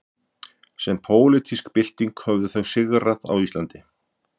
sem pólitísk bylting höfðu þau sigrað á íslandi